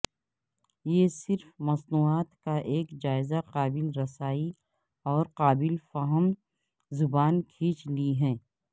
یہ صرف مصنوعات کا ایک جائزہ قابل رسائی اور قابل فہم زبان کھینچ لی ہے